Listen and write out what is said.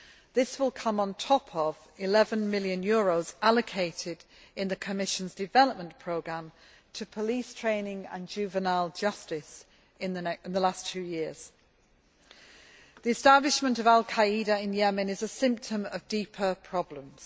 This will come on top of EUR 11 million allocated, in the Commission's development programme, to police training and juvenile justice in the last two years. The establishment of al Qaeda in Yemen is a symptom of deeper problems.